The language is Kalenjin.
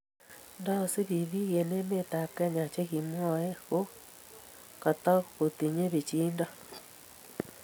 nda sup piik eng' emet ab kenya che kimwae ko katamkotinye pichiindo